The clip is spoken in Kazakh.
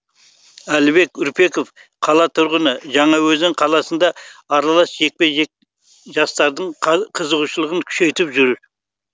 әлібек үрпеков қала тұрғыны жаңаөзен қаласында аралас жекпе жек жастардың қызығушылығын күшейіп жүр